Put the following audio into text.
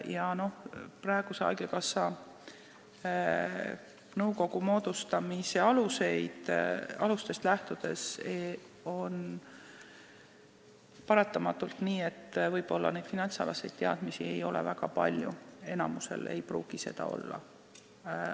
Haigekassa praeguse nõukogu moodustamise alustest lähtudes on paratamatult nii, et neid finantsalaseid teadmisi ei ole väga palju, enamikul liikmetest ei pruugi neid olla.